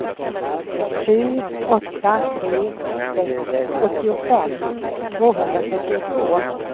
sju åtta tre sex åttiofem tvåhundratrettiotvå